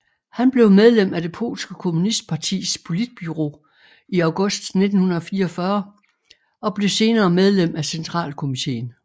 Han blev medlem af det polske kommunistpartis politbureau i august 1944 og blev senere medlem af centralkomiteen